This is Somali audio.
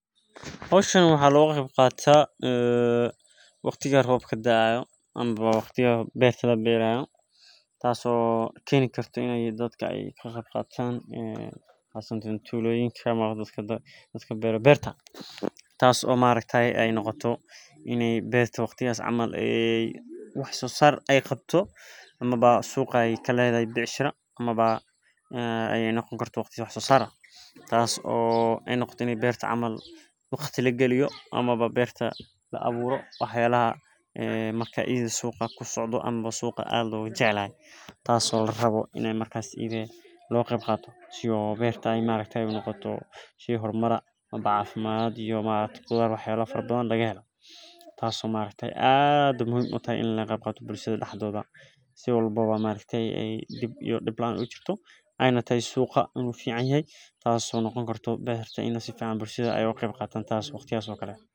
Hoshan waxaa loga qeb qataa ee waqtiga tobka dayo ama beerta laberayo in ee waqtigas ee wax sosar leh tas oo ee beerta ini waqti laagaliyo tas oo muhiim utahay in laga qaeb qato tas oo waqtigas oo kale an faceso bulshaada tas ayan arki haya.